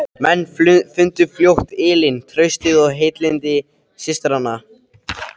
Menn fundu fljótt ylinn, traustið og heilindi systranna.